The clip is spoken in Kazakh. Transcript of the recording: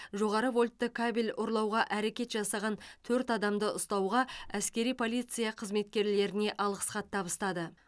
жоғары вольтты кабель ұрлауға әрекет жасаған төрт адамды ұстауға әскери полиция қызметкерлеріне алғыс хат табыстады